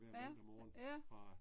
Ja, ja